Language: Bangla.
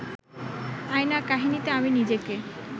আয়না কাহিনীতে আমি নিজেকে